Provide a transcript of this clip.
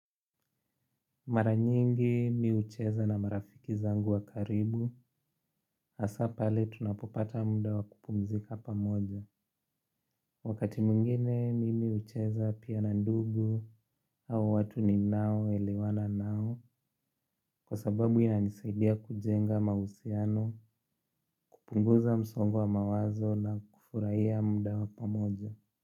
Mara nyingi mimi hucheza na marafiki zangu wa karibu hasa pale tunapopata muda wa kupumzika pamoja wakati mwingine mimi hucheza pia na ndugu au watu ninaoelewana nao kwa sababu inanisaidia kujenga mahusiano kupunguza msongo wa mawazo na kufurahia muda wa pamoja.